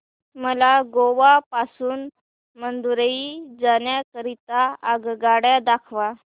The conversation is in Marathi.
मला गोवा पासून मदुरई जाण्या करीता आगगाड्या दाखवा